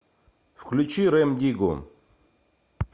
включи рем диггу